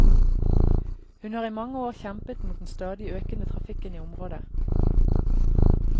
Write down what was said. Hun har i mange år kjempet mot den stadige økende trafikken i området.